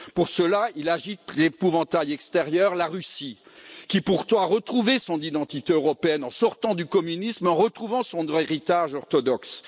Pour cela, il agite l'épouvantail extérieur, la Russie, qui pourtant a retrouvé son identité européenne en sortant du communisme et en retrouvant son héritage orthodoxe.